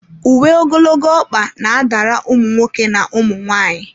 Uwe ogologo ọkpa na-adara ụmụ nwoke na ụmụ nwaanyị.